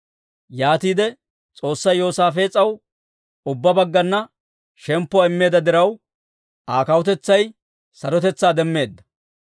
Yaatiide S'oossay Yoosaafees'aw ubbaa baggana shemppuwaa immeedda diraw, Aa kawutetsay sarotetsaa demmeedda.